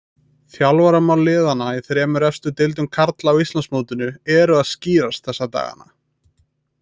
Þjálfaramál liðanna í þremur efstu deildum karla á Íslandsmótinu eru að skýrast þessa dagana.